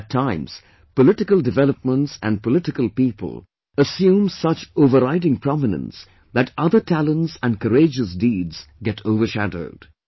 At times, political developments and political people assume such overriding prominence that other talents and courageous deeds get overshadowed